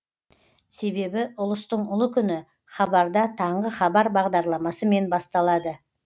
себебі ұлыстың ұлы күні хабарда таңғы хабар бағдарламасымен басталады